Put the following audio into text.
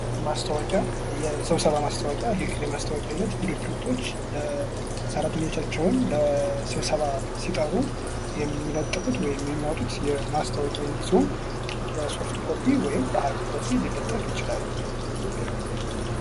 ማስታወቂያ የስብሰባ ማስታወቂያ ይህ ማስታወቂያ አይነት ድርጅቶች ለሰራተኞቻቸው ለስብሰባ ሲጠሩ የሚለጥፉት ወይም የሚያወጡት ማስታወቂያ አይነት ሲሆን በሶፍት ኮፒ ወይም በሀርድ ኮፒ ሊለጠፍ ይችላል ::